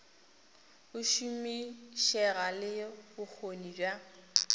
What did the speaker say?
go šomišega le bokgoni bja